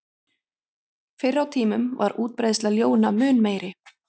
Fyrr á tímum var útbreiðsla ljóna mun meiri.